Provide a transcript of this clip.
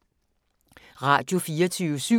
Radio24syv